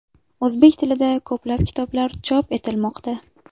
O‘zbek tilida ko‘plab kitoblar chop etilmoqda.